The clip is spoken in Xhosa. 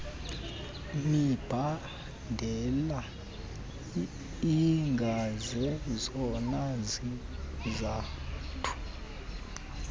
mibandela ingazezona zizathu